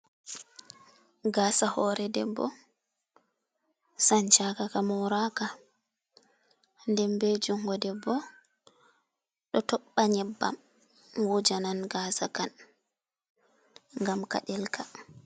Gasa hore debbo sanchaka ka moraka dem be jungo debbo do tobba nyebbam wujanan gasa kan gam kadelka.